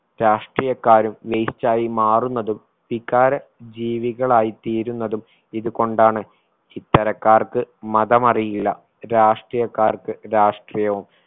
രാഷ്ട്രീയക്കാരും waste ആയി മാറുന്നതും വികാര ജീവികളായി തീരുന്നതും ഇതുകൊണ്ടാണ് ഇത്തരക്കാർക്ക് മതമറിയില്ല രാഷ്ട്രീയക്കാർക്ക് രാഷ്ട്രീയവും